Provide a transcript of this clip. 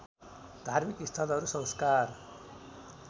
धार्मिक स्थलहरू संस्कार